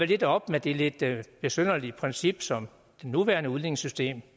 lidt op med det lidt besynderlige princip som det nuværende udligningssystem